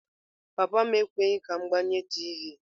Papa m ekweghị ka m gbanye tiivi.